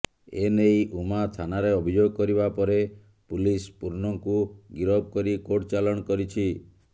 ଏନେଇ ଉମା ଥାନାରେ ଅଭିଯୋଗ କରିବା ପରେ ପୁଲିସ ପୂର୍ଣ୍ଣଙ୍କୁ ଗିରଫ କରି କୋର୍ଟ ଚାଲାଣ କରିଛି